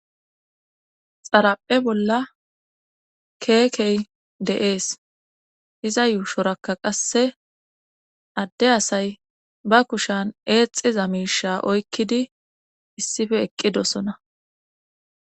xaraphe bolla keekey de7ees iza yuushorakka qasse adde asay ba kushan eexiza miisha oykkidi issife eqqidosona